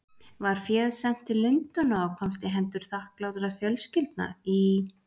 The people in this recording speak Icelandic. Var féð sent til Lundúna og komst í hendur þakklátra fjölskyldna í